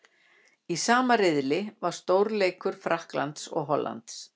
Í sama riðli var stórleikur Frakklands og Hollands.